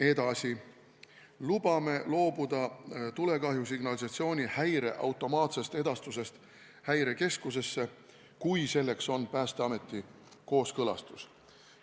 Edasi, lubame loobuda tulekahjusignalisatsiooni häire automaatsest edastusest Häirekeskusesse, kui selleks on Päästeameti kooskõlastus.